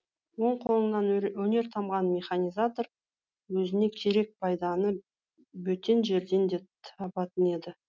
он қолынан өнер тамған механизатор өзіне керек пайданы бөтен жерден де табатын еді